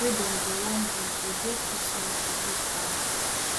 wey dem go wan do go dey too small for big banks